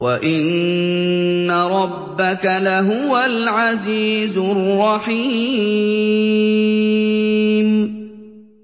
وَإِنَّ رَبَّكَ لَهُوَ الْعَزِيزُ الرَّحِيمُ